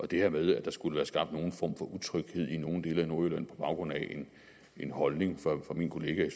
det her med at der skulle være skabt en form for utryghed i nogle dele af nordjylland på baggrund af en holdning fra min kollega i